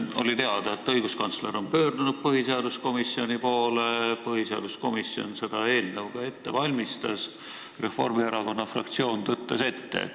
Oli teada, et õiguskantsler on pöördunud põhiseaduskomisjoni poole ja põhiseaduskomisjon seda eelnõu ka ette valmistas, aga Reformierakonna fraktsioon tõttas ette.